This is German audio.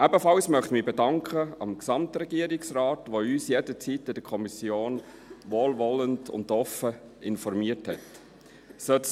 Ebenfalls möchte ich mich beim Gesamtregierungsrat bedanken, welcher in der Kommission jederzeit wohlwollend und offen informiert hat.